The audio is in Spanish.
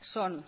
son